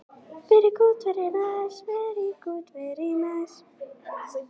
Stökkbreytingar sem eyðileggja gen geta haft mismikil áhrif eftir því hvaða geni þær raska.